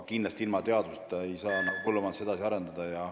Ilma teaduseta ei saa aga kindlasti põllumajandust edasi arendada.